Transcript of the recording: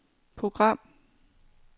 program